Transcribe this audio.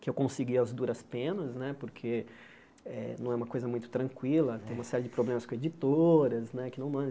que eu consegui as duras penas né, porque eh não é uma coisa muito tranquila, tem uma série de problemas com editoras né, que não mandam.